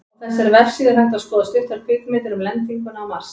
Á þessari vefsíðu er hægt að skoða stuttar kvikmyndir um lendinguna á Mars.